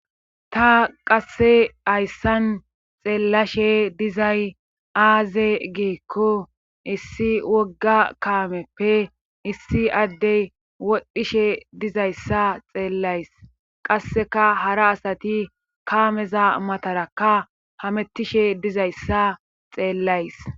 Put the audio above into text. Ta qasse hayssan xeellashe dizay aaze giikko issi wogga kaameppe issi addey wodhdhishe dizayssa xeellays qasseka hara asati kaameza matarakka hamettishe dizayssa xeellays.